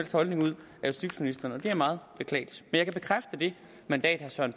holdning ud af justitsministeren det er meget beklageligt men jeg kan bekræfte det mandat som